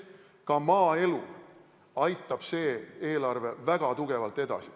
Ka maaelu aitab see eelarve väga tugevalt edasi.